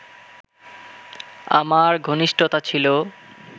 আমার ঘনিষ্ঠতা ছিল